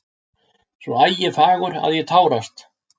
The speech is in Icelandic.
Svo ægifagur að ég tárast.